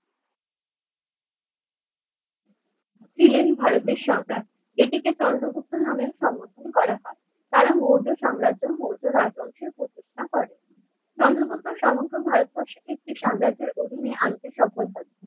ছিলেন ভারতের সরদার এটিকে চন্দ্রগুপ্ত নামে সম্বোধন করা হয় কারণ মৌর্য সাম্রাজ্যের মৌর্য রাজবংশীয় প্রতিষ্ঠা করেন চন্দ্রগুপ্ত সমগ্র ভারতবর্ষের একটি অধীনে আনতে সফল হয়।